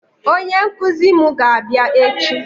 Onye nkụzi mụ ga-abịa echi